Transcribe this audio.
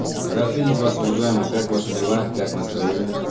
рад видеть вас уважаемые как ваши дела как настроение